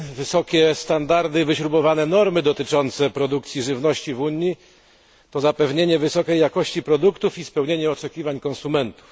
Wysokie standardy i wyśrubowane normy dotyczące produkcji żywności w Unii to zapewnienie wysokiej jakości produktów i spełnienie oczekiwań konsumentów.